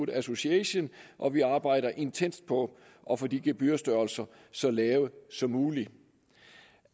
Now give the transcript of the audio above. association og vi arbejder intenst på at få de gebyrstørrelser så lave som muligt